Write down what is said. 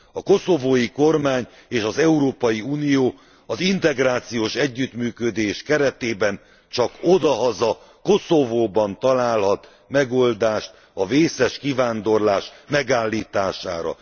A koszovói kormány és az Európai Unió, az integrációs együttműködés keretében, csak odahaza Koszovóban találhat megoldást a vészes kivándorlás megállítására.